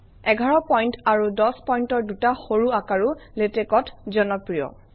১১ point আৰু ১o পইণ্টৰ দুটা সৰু আকাৰো LaTeX অত জনপ্ৰিয়